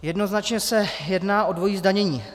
Jednoznačně se jedná o dvojí zdanění.